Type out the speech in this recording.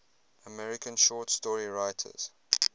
american short story writers